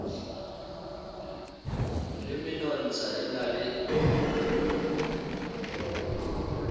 le menontsha e na le